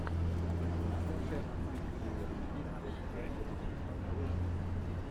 трансляция английской премьер лиги вест хэм против кристал пэласа